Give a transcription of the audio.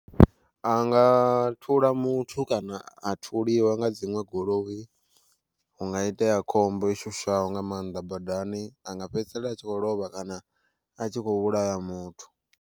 A nga thula muthu kana a thuliwa nga dziṅwe goloi, hunga itea khombo i shushaho nga maanḓa badani anga fhedzisela a tshi khou lovha kana a tshi kho vhulaya muthu.